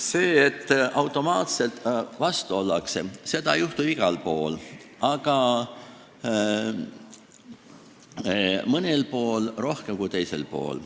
Seda, et automaatselt vastu ollakse, ei juhtu ju igal pool, aga mõnel pool rohkem kui teisel pool.